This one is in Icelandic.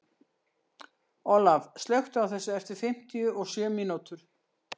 Olaf, slökktu á þessu eftir fimmtíu og sjö mínútur.